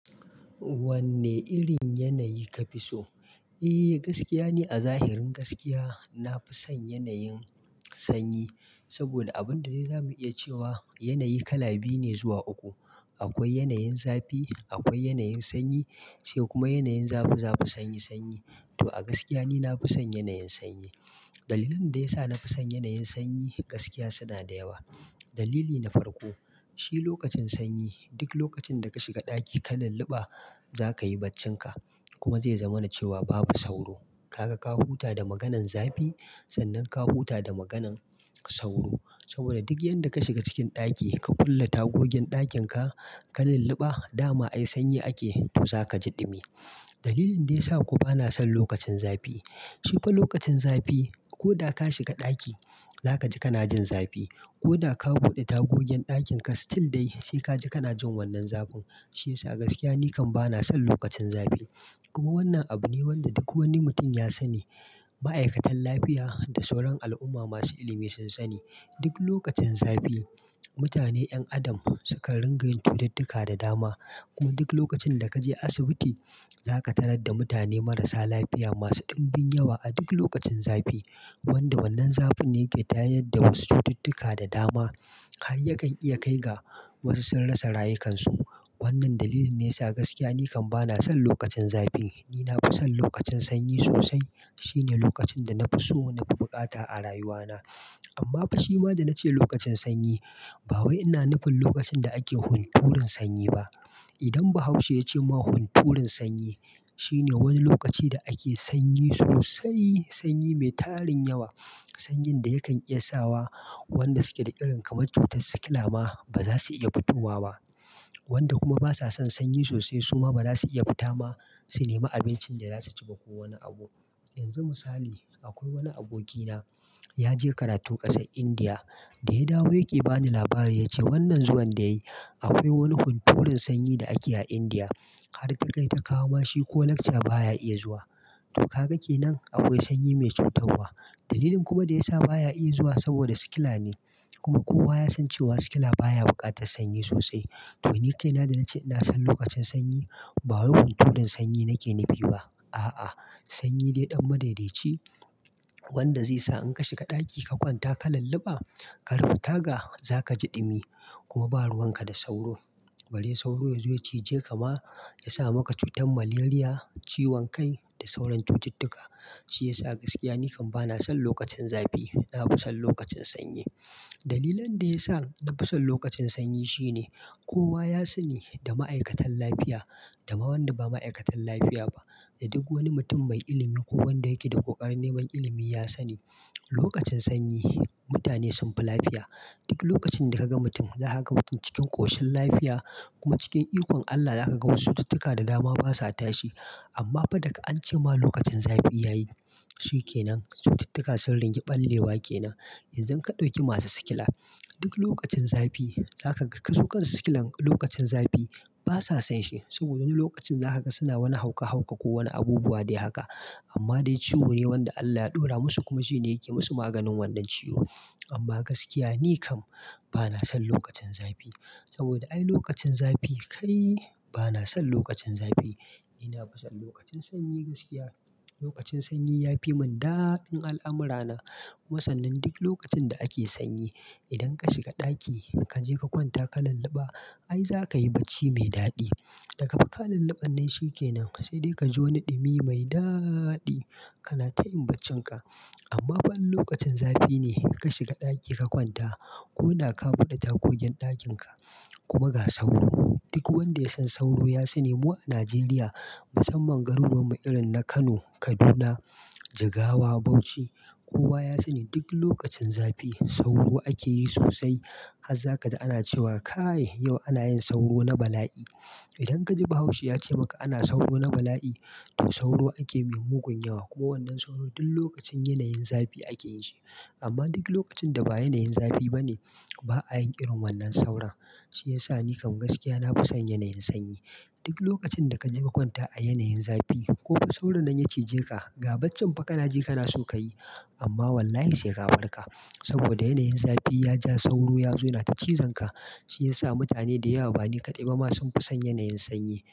Wanne irin yanayi kafi so? Eh gaskiya ni a zahirin gaskiya. Na fi son yanayin sanyi saboda abun da dai za mu iya cewa yanayi kala biyu ne zuwa uku. Akwai yanayin zafi, akwai yanayin sanyi sai kuma yanayin zafi zafi sanyi sanyi. To a gaskiya ni na fi son yanayin sanyi. Dalilan da ya sa na fi son yanayin sanyi gaskiya suna da yawa. Dalili na farko shi lokacin sanyi duk lokacin da ka shiga ɗaki ka lulluɓa za ka yi barcinka kuma zai zama na cewa babu sauro. Kaga ka huta da maganan zafi sannan ka huta da maganan sauro saboda duk yanda ka shiga cikin ɗaki ka kulle tagogin ɗakin ka, ka lulluɓa dama ai sanyi ake to zaka ji ɗumi. Dalilin da ya sa kuma bana son lokacin zafi shi fa lokacin zafi ko da ka shiga ɗaki za ka ji kana jin zafi ko da ka buɗe tagogin ɗakin ka stil dai sai ka ji kana jin wannan zafin. Shi yasa gaskiya ni kam bana son lokacin zafi. Kuma wannan abu ne wanda duk wani mutum ya sani. Ma'aikatan lafiya da sauran al'umma masu ilimi sun sani. Duk lokacin zafi mutane ƴan adam sukan ringa yin cututtuka da dama. Kuma duk lokacin da ka je asibiti za ka tarar da mutane marasa lafiya masu ɗumbin yawa a duk lokacin zafi. Wanda wannan zafin ne ke tayar da wasu cututtuka da dama har yakan iya kai ga wasu sun rasa rayukansu. Wannan dalilin ne yasa gaskiya ni kam bana son lokacin zafi. Ni na fi son lokacin sanyi sosai. Shine lokacin da na fi so na fi bukata a rayuwana. Amma fa shi ma da na ce lokacin sanyi ba wai ina nufin lokacin da ake hunturun sanyi ba. Idan Bahaushe ya ce ma hunturun sanyi shine wani lokaci da ake sanyi sosai. Sanyi mai tarin yawa. Sanyin da yakan iya sa wa wanda suke da ƙirin kamar cutar sikila ma ba za su iya fitowa ba wanda kuma ba sa son sanyi sosai su ma ba za su iya fita ma su nema abincin da za su ci ba ko wani abu. Yanzu misali akwai wani abokina ya je karatu ƙasar Indiya. Da ya dawo yake bani labari ya ce wannan zuwan da yayi akwai wani hunturun sanyi da ake a Indiya har ta kai ta kawo mashi cold lecture baya iya zuwa. To ka ga kenan akwai sanyi mai cutarwa. Dalilin kuma da ya sa baya iya zuwa saboda sikila ne. Wanda wannan zafin ne ke tayar da wasu cututtuka da dama har yakan iya kai ga wasu sun rasa rayukansu. Wannan dalilin ne yasa gaskiya ni kam bana son lokacin zafi. Ni na fi son lokacin sanyi sosai. Wanda wannan zafin ne ke tayar da wasu cututtuka da dama har yakan iya kai ga wasu sun rasa rayukansu. Wannan dalilin ne yasa gaskiya ni kam bana son lokacin zafi. Ni na fi son lokacin sanyi sosai. Na fi son lokacin sanyi. Dalilan da ya sa na fi son lokacin sanyi shine kowa ya sani da ma'aikatan lafiya dama wanda ba ma'aikatan lafiya ba da duk wani mutum mai ilimi ko wanda yake da ƙoƙarin neman ilimi ya sani. Lokacin sanyi mutane sunfi lafiya. Duk lokacin da ka ga mutum na haka cikin ƙoshin lafiya kuma cikin ikon Allah da aka ga wasu cututtuka da dama basa tashi. Amma fa daga an ce ma lokacin zafi ya yi shi kenan cututtuka sun ringa ɓallewa kenan. Yanzu ka ɗauki masu sikila duk lokacin zafi zaka ga kasuƙan sikilan lokacin zafi basa son shi saboda wani lokacin za ka ga suna wani hauka hauka ko wani abubuwa dai haka. Amma dai ciwo ne wanda Allah ya ɗora musu kuma shi ne yake musu maganin wannan ciwo. Amma gaskiya ni kam bana son lokacin zafi saboda ai lokacin zafi kai bana son lokacin zafi. Ni na fi son lokacin sanyi gaskiya. Lokacin sanyi ya fi mun daɗin al'amura na. Kuma sannan duk lokacin da ake sanyi idan ka shiga ɗaki ka je ka kwanta ka lulluɓa ai za ka yi bacci mai daɗi. Daga dakka lulluɓannan shi kenan sai dai ka ji wani ɗumi mai daaɗi kana tayin barcinka. Amma fa in lokacin zafi ne ka shiga ɗaki ka kwanta ko na ka buɗe tagogin ɗakin ka kuma ga sauro. Duk wanda ya san sauro ya sani mu a Najeriya musamman garuruwan mu irin na Kano, Kaduna, Jigawa, Bauchi kowa ya sani duk lokacin zafi sauro ake yi sosai. Haza ka ji ana cewa "kae yau ana yin sauro na bala'i". Idan ka ji Bahaushe ya ce maka ana sauro na bala'i to sauro ake mi munƙun yawa. Kuma wannan sauro duk lokacin yanayin zafi ake shi. Amma duk lokacin da ba yanayin zafi bane ba ayin ƙiran wannan sauron. Shi yasa ni kam gaskiya na fi son yanayin sanyi. Duk lokacin da ka je ka kwanta a yanayin zafi ko fa sauro nan ya cije ka ga barcin fa kana je kana so ka yi amma wallahi sai ka farka. Saboda yanayin zafi ya ja sauro ya zo na ci zanka. Shi yasa mutane da yawa bane kaɗai ba ma sun fi son yanayin sanyi.